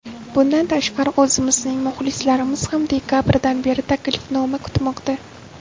Bundan tashqari, o‘zimizning muxlislarimiz ham dekabrdan beri taklifnoma kutmoqda.